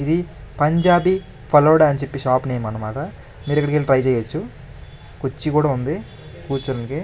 ఇది పంజాబీ ఫలుడా అని చెప్పి షాప్ నేమ్ అనేమాట మీరు ఇక్కడికి ఎల్లి ట్రై చెయ్యచ్చు కుర్చీ కూడ ఉంది కుర్చునేకి --